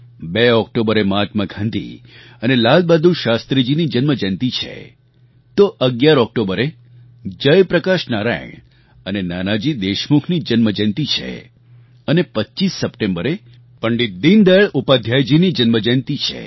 બે ઑક્ટોબરે મહાત્મા ગાંધી અને લાલબહાદુર શાસ્ત્રીજીની જન્મ જયંતી છે તો ૧૧ ઑક્ટોબરે જયપ્રકાશ નારાયણ અને નાનાજી દેશમુખની જન્મજયંતી છે અને ૨૫ સપ્ટેમ્બરે પંડિત દીનદયાળ ઉપાધ્યાયજીની જન્મજયંતી છે